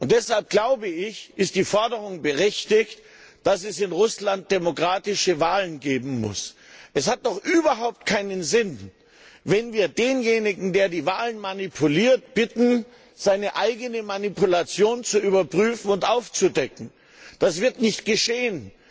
Deshalb, glaube ich, ist die Forderung berechtigt, dass es in Russland demokratische Wahlen geben muss. Es hat doch überhaupt keinen Sinn, wenn wir denjenigen, der die Wahlen manipuliert, bitten, seine eigene Manipulation zu überprüfen und aufzudecken. Das wird nicht geschehen.